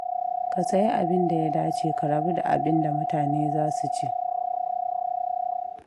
Ka sayi abinda ya dace, ka rabu da abinda mutane za su ce.